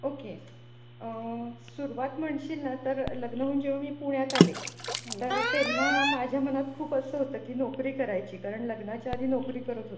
Okay. आह सुरुवात म्हणशील ना तर लग्न होऊन जेव्हा मी पुण्यात आले तर तेव्हा माझ्या मनात खूप असं होतं की नोकरी करायची कारण लग्नाच्या आधी नोकरी करत होते.